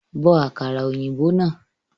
Bo àkàrà òyìnbó náà